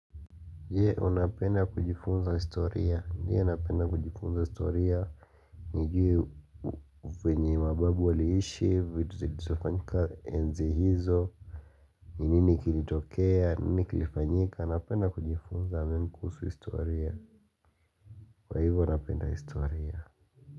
Je unapenda kujifunza historia, ndiyo napenda kujifunza historia nijue venye mababu waliishi, vituzilizofanyika enzi hizo Ninini kilitokea, ninini kilifanyika, napenda kujifunza mengi kusuhu historia Kwa hivyo napenda historia.